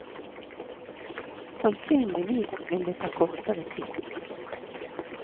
Sannsynligvis vil det ta kortere tid.